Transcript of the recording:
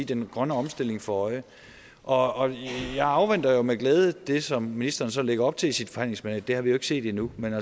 den grønne omstilling for øje og jeg afventer jo med glæde det som ministeren så lægger op til i sit forhandlingsmandat det har vi jo ikke set endnu men